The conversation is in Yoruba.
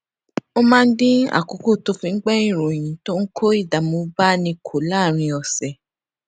ó máa ń dín àkókò tó fi ń gbó ìròyìn tó ń kó ìdààmú báni kù láàárín òsè